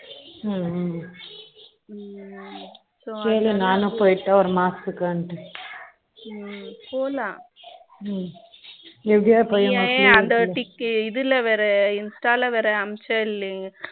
ம்ம ம்ம so கேளு நானும் போயிட்டு ஒரு மாசத்துக்கு ம்ம போலாம் foreign language நான் Insta ல்ல வேற அனுப்பிச்ச இல்லையா ம்ம